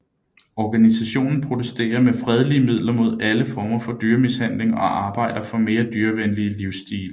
Organisationen protesterer med fredelige midler mod alle former for dyremishandling og arbejder for mere dyrevenlige livsstile